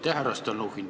Aitäh, härra Stalnuhhin!